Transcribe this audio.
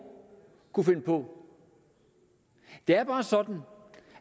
kunne finde på det er bare sådan